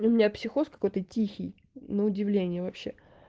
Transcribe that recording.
у меня психоз какой-то тихий на удивление вообще